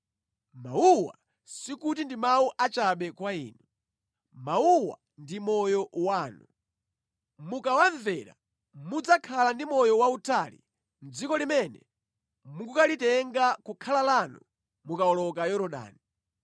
Mawuwa sikuti ndi mawu achabe kwa inu. Mawuwa ndi moyo wanu. Mukawamvera mudzakhala ndi moyo wautali mʼdziko limene mukukalitenga kukhala lanu mukawoloka Yorodani.”